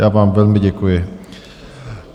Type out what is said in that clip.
Já vám velmi děkuji.